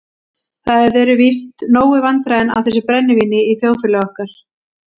Það eru víst nóg vandræðin af þessu brennivíni í þjóðfélagi okkar.